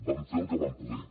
vam fer el que vam poder